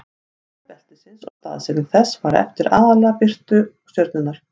stærð beltisins og staðsetning þess fara eftir aðallega eftir birtu stjörnunnar